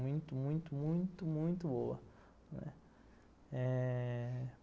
Muito, muito, muito, muito boa.